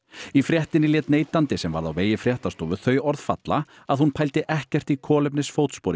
í fréttinni lét neytandi sem varð á vegi fréttastofu þau orð falla að hún pældi ekkert í kolefnisfótspori